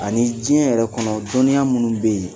Ani Jɛnyɛrɛ kɔnɔ dɔnniya minnu bɛ yen